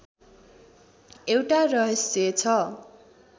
एउटा रहस्य छ